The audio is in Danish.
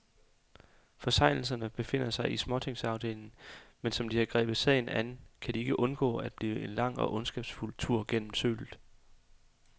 Forseelserne befinder sig i småtingsafdelingen, men som de har grebet sagen an, kan den ikke undgå at blive en lang og ondskabsfuld tur gennem sølet.